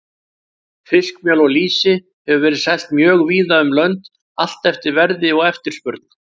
Fiskmjöl og lýsi hefur verið selt mjög víða um lönd, allt eftir verði og eftirspurn.